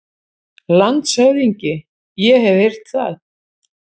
LANDSHÖFÐINGI: Ég hef heyrt það.